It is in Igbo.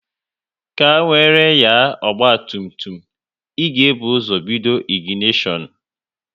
Ka wéré nya ọgba tum tum, ị ga-ebu ụzọ bido ịginishon